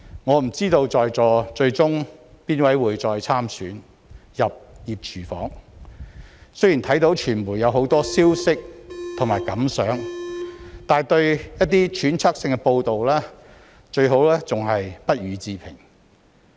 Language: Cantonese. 我不知道在座各位最終誰人會再參選，入"熱廚房"，雖然我看到傳媒有很多消息和想法，但對於一些揣測性的報道，最好還是不予置評。